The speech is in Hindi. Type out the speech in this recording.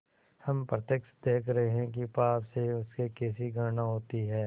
हम प्रत्यक्ष देख रहे हैं कि पाप से उसे कैसी घृणा होती है